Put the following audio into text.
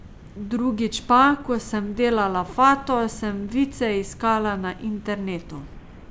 Drugič pa, ko sem delala Fato, sem vice iskala na internetu.